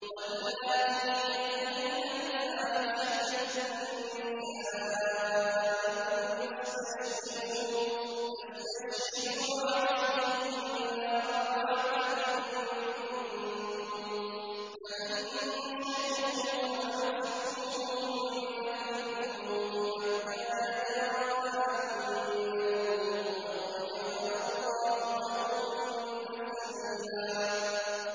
وَاللَّاتِي يَأْتِينَ الْفَاحِشَةَ مِن نِّسَائِكُمْ فَاسْتَشْهِدُوا عَلَيْهِنَّ أَرْبَعَةً مِّنكُمْ ۖ فَإِن شَهِدُوا فَأَمْسِكُوهُنَّ فِي الْبُيُوتِ حَتَّىٰ يَتَوَفَّاهُنَّ الْمَوْتُ أَوْ يَجْعَلَ اللَّهُ لَهُنَّ سَبِيلًا